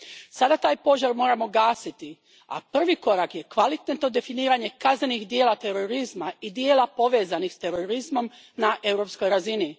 Sada taj požar moramo gasiti, a prvi korak je kvalitetno definiranje kaznenih djela terorizma i djela povezanih s terorizmom na europskoj razini.